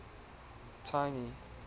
tiny